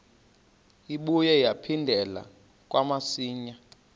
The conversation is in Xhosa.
ibuye yaphindela kamsinya